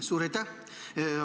Suur aitäh!